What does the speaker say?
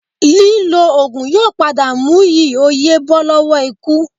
Lílò oògùn yóò padà mú yí o yè bọ́ lọ́wọ́ ikú